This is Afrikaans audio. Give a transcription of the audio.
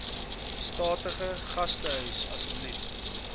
statige gastehuis asseblief